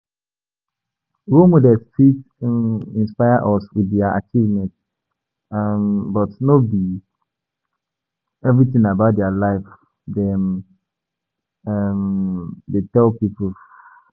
Role model fit um inspire us with their achievement um but no be everything about their life dem um dey tell pipo